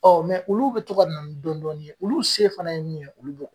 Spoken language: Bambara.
olu bi to ka na ni dɔɔnin dɔɔnin ye, olu se fana ye min ye, olu bɔ